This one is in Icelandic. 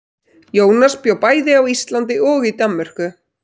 Jónas bjó bæði á Íslandi og í Danmörku.